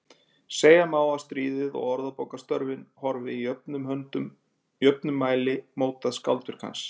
Segja má að stríðið og orðabókarstörfin hafi í jöfnum mæli mótað skáldverk hans.